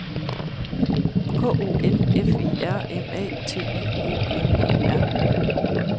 K O N F I R M A T I O N E R